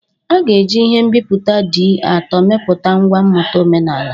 A ga-eji ihe nbipute D-ato mepụta ngwa mmụta omenala.